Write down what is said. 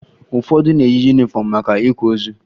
Ụfọdụ na-eyi yunifọmụ maka ịkwa ozu